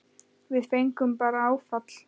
Við fengum bara áfall.